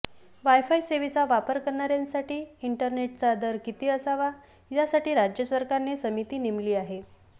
wifi सेवेचा वापर करणाऱ्यांसाठी इंटरनेटचा दर किती असावा यासाठी राज्य सरकारने समिती नेमली आहे